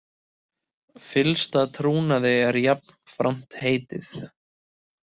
Fyllsta trúnaði er jafnframt heitið